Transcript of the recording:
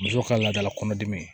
Muso ka laadala kɔnɔdimi ye